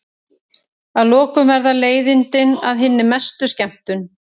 Að lokum verða leiðindin að hinni mestu skemmtun.